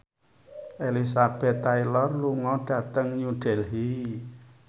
Elizabeth Taylor lunga dhateng New Delhi